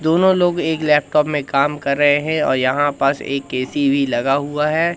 दोनों लोग एक लैपटॉप में काम कर रहे हैं और यहां पास एक ऐ_सी भी लगा हुआ है।